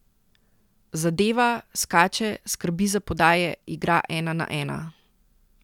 Zadeva, skače, skrbi za podaje, igra ena na ena.